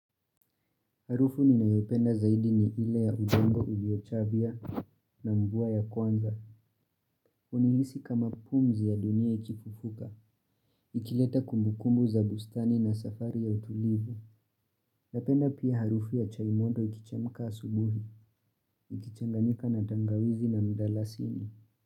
Harufu nina yopenda zaidi ni ile ya udongo uliochabia na mvua ya kwanza. Hunihisi kama pumzi ya dunia ikifufuka. Ikileta kumbukumbu za bustani na safari ya utulivu. Napenda pia harufu ya chai mondo ikichemka asubuhi. Ikichanganika na tangawizi na mdalasini.